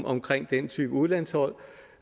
omkring den type udlandsophold